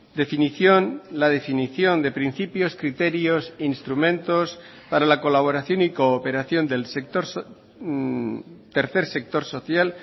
definición la definición de principios criterios instrumentos para la colaboración y cooperación del sector tercer sector social